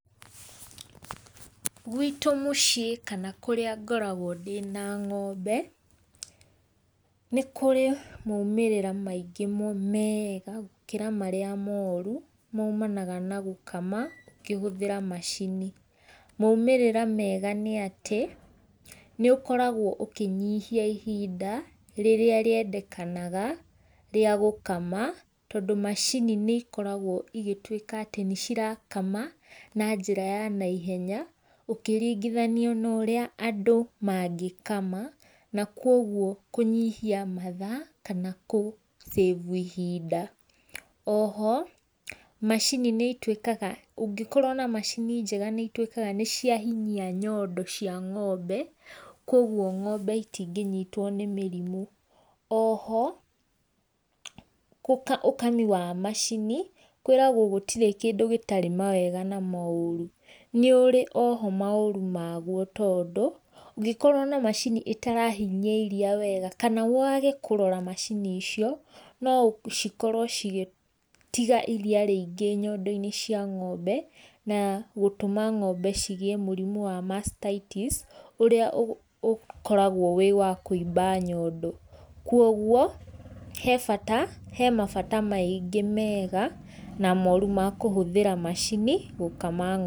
Gwĩtũ mũciĩ kana kũrĩa ngoragwo dĩna ngombe nĩ kũrĩ maũmĩrĩra maĩngĩ mũno mega gũkĩra marĩa morũ maũmanaga na gũkama ũkĩhũthĩra macini. Maũmĩrĩra mega nĩ atĩ nĩ ũkoragwo ũkĩnyĩhĩa ihĩnda rĩrĩa rĩendekanaga rĩa gũkama tondũ macini nĩ ikoragwo igĩtũĩka atĩ, nĩ cira kama na njĩra ya na ĩhenya ũkĩrigĩthania na ũrĩa andũ magĩkama na kũogwo kũnyĩhĩa mathaa kana gũ save ihĩnda oho, macini nĩ ĩtũĩkaga ũgĩkorwo na macini jega nĩcitũĩkaga nĩciahinyia nyondo cia ngombe kwogwo ngombe ĩtĩngĩnyĩtwo nĩ mĩrĩmũ oho, ũkanyũa macini kwĩragwo gũtirĩ kĩndũ gĩtarĩ mawega na maorũ nĩ ũrĩ oho maũrũ magũo tondũ ũgĩkorwo na macĩnĩ ĩtarahĩnyĩa ĩrĩa wega, kana wage kũrora macini icio no cikorwo cigatĩga ĩrĩa rĩingĩ nyondo inĩ cia ngombe na gũtũma ngombe cigĩe mũrĩmũ wa mastaitis, ũrĩa ũkoragwo wĩ wa kũĩba nyondo kũogowo he bata he mabata maĩngĩ mega na moru ma kũhũthĩra macini gũkama .